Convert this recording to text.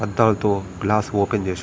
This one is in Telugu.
అద్దాల తో గ్లాస్ ఓపెన్ చెస్ --